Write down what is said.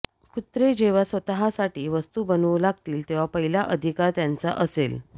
कुत्रे जेव्हा स्वतःसाठी वस्तू बनवू लागतील तेव्हा पहिला अधिकार त्यांचा असेल